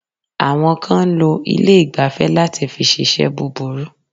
Àwọn kan ń lo ilé ìgbafẹ́ láti fi ṣiṣẹ́ búburú.